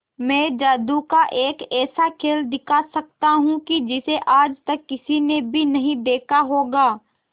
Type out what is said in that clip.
मैं जादू का एक ऐसा खेल दिखा सकता हूं कि जिसे आज तक किसी ने भी नहीं देखा होगा